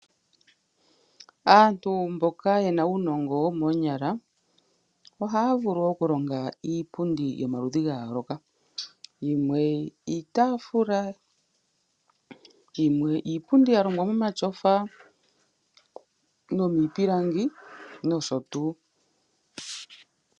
Aantu mboka yena uunongo womoonyala ohaya vulu oku longa iipundi yomaludhi ga yooloka, yimwe iitaafula, yimwe iipundi ya longwa momatyofa nomiipilangi nosho tuu.